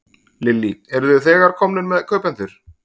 Lillý: Eruð þið þegar komnir með kaupendur?